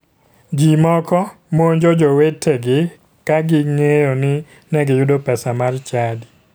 Ji moko monjo jowetegi ka ging'eyo ni ne giyudo pesa mar chadi.